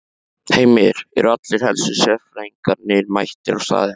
Heimir, eru allir helstu sérfræðingarnir mættir á staðinn?